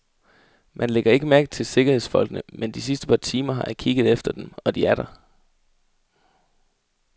Man lægger ikke mærke til sikkerhedsfolkene, men de sidste par timer har jeg kigget efter dem, og de er der.